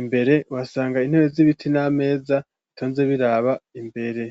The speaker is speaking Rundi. imbere uhaasanga intebe z'ibiti n'ameza itonze ziraba imbere.